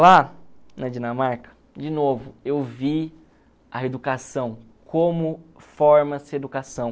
Lá na Dinamarca, de novo, eu vi a educação, como forma-se a educação.